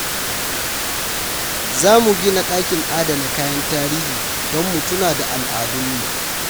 Za mu gina dakin adana kayan tarihi don mu tuna da al’adunmu.